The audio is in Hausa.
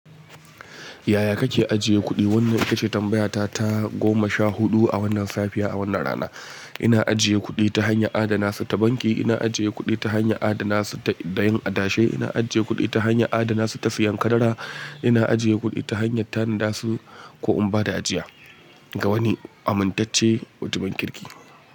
Yaya kake ajiye kuɗi? Wannan ita ce tambayata ta goma sha huɗu a wannan safiya, a wannan rana. Ina ajiye kuɗi ta hanyar adana su ta banki. Ina ajiye kuɗi ta hanyar adana su da yin adashe. Ina ajiye kuɗi ta hanyar adana su ta siyan karara. Ina ajiye kuɗi ta hanyar tanadasu ko in ba da ajiya ga wani amintacce mutumin kirki.